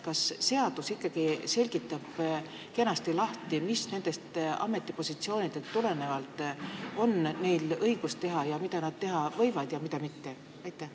Kas seadus ikkagi näitab selgelt, mida on neil oma ametipositsioonil olles õigus teha, mida nad teha võivad ja mida mitte?